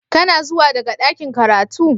Kana zuwa daga ɗakin karatu?.